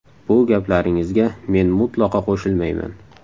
Bu gaplaringizga men mutlaqo qo‘shilmayman.